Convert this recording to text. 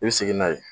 I bɛ segin n'a ye